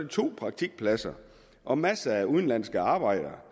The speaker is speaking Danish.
to praktikpladser og masser af udenlandske arbejdere